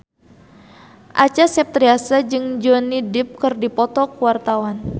Acha Septriasa jeung Johnny Depp keur dipoto ku wartawan